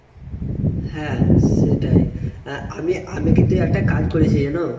হ্যাঁ সেটাই। আ আমি আমি কিন্তু কাজ করেছি জানো ?